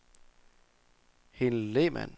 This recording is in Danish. Helen Lehmann